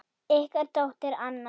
Ykkar dóttir, Anna.